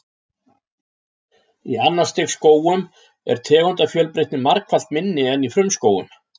Í annars stigs skógum er tegundafjölbreytni margfalt minni en í frumskógum.